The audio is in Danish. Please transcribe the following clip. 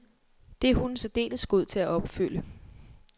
Det er hunden særdeles god til at opfylde.